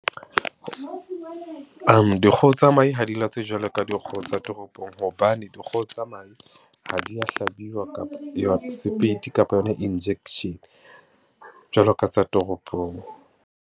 Dikgoho tsa mahe ha di latswe jwalo ka dikgoho tsa toropong, hobane dikgoho tsa mahe ha di ya hlabiwa kapo sepeiti kapa yona injection, jwalo ka tsa toropong.